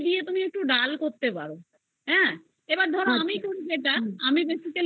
দিয়ে তুমি একটা ডাল করতে পারো হ্যা এবার ধরো আমি basically যেটা করি সেটা